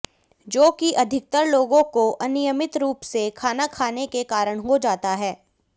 जो कि अधिकतर लोगों को अनियमित रूप से खाना खाने के कारण हो जाता है